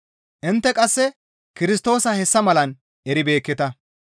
Intte qasse Kirstoosa hessa malan eribeekketa.